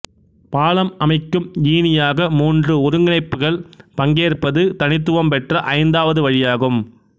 பாலம் அமைக்கும் ஈனியாக மூன்று ஒருங்கிணைப்புகள் பங்கேற்பது தனித்துவம் பெற்ற ஐந்தாவது வழியாகும்